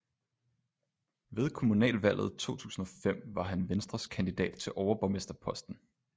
Ved kommunalvalget 2005 var han venstres kandidat til overborgmesterposten